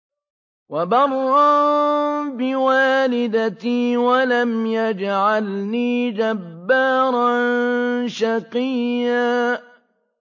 وَبَرًّا بِوَالِدَتِي وَلَمْ يَجْعَلْنِي جَبَّارًا شَقِيًّا